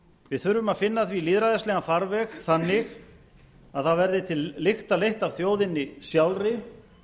við þurfum að finna því lýðræðislegan farveg þannig að það verði til lykta leitt af þjóðinni sjálfri